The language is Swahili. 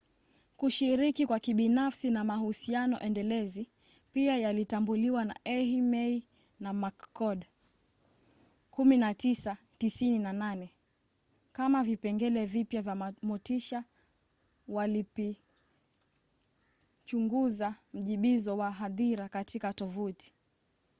kushiriki kwa kibinafsi na mahusiano endelezi pia yalitambuliwa na eighmey na mccord 1998 kama vipengele vipya vya motisha walipichunguza mjibizo wa hadhira katika tovuti